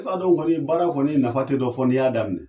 E b'a dɔn kɔni, baara kɔni nafa tɛ dɔ fo n'i y'a daminɛ.